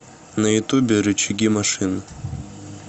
на ютубе рычаги машин